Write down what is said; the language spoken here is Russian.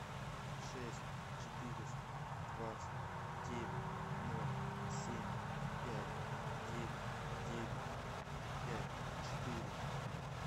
шесть четыреста двадцать девять ноль семь пять девять девять пять четыре